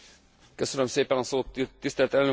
Tisztelt Elnök Asszony, Képviselőtársaim!